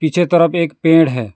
पीछे की तरफ एक पेड़ है।